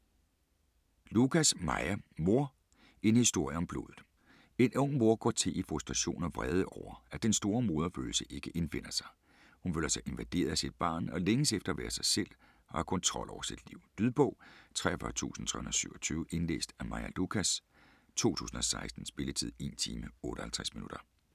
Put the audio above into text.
Lucas, Maja: Mor: en historie om blodet En ung mor går til i frustration og vrede over, at den store moderfølelse ikke indfinder sig. Hun føler sig invaderet af sit barn og længes efter at være sig selv og at have kontrol over sit liv. Lydbog 43327 Indlæst af Maja Lucas, 2016. Spilletid: 1 time, 58 minutter.